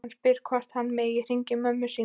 Hann spyr hvort hann megi hringja í mömmu sína.